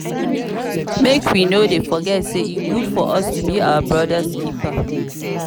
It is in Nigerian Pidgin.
make we no dey forget say e good for us to be our brother's keeper